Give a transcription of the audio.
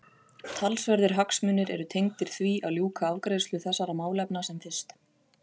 Talsverðir hagsmunir eru tengdir því að ljúka afgreiðslu þessara málefna sem fyrst.